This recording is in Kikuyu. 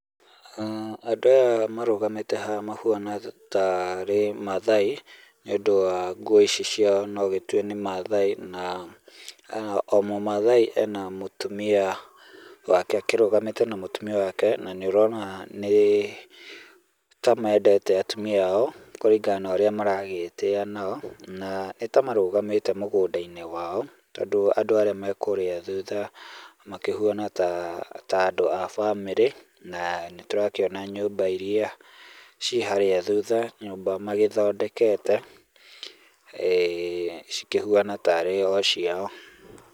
Andũ aya marũgamĩte haha mahuana taarĩ maathai, nĩ ũndũ wa nguo ici ciao, no ũgĩtue nĩ maathai. Na ah o mũmaathai ena mũtumia wake, akĩrũgamĩte na mũtumia wake, na nĩũrona nĩ ta mendete atumia ao kũringana na ũrĩa maragĩĩtĩa nao. Na nĩta marũgamĩte mũgũnda-ini wao tondũ andũ arĩa me kũrĩa thutha makĩhuana ta ta andũ a bamĩrĩ, na nĩtũrakĩona nyũmba iria ci harĩa thutha, nyũmba magĩthondekete cikĩhuana taarĩ o ciao.